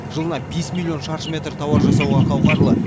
жылына бес миллион шаршы метр тауар жасауға қауқарлы